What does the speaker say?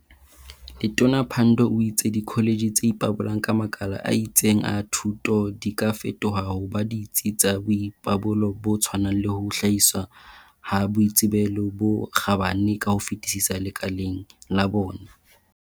Letona Pandor o itse dikho letjhe tse ipabolang ka makala a itseng a thuto di ka fetoha ho ba ditsi tsa boipabollo bo tshwanang le ho hlahiswa ha boitsebelo bo kgabane ka ho fetisisa lekaleng la bona.